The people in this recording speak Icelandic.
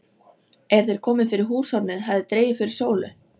Er þeir komu fyrir húshornið hafði dregið fyrir sólu.